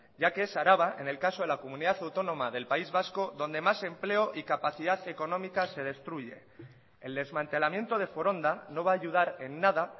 ya que es araba en el caso de la comunidad autonoma del país vasco donde más empleo y capacidad económica se destruye el desmantelamiento de foronda no va a ayudar en nada